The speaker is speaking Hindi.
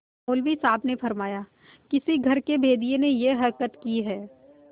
मौलवी साहब ने फरमाया किसी घर के भेदिये ने यह हरकत की है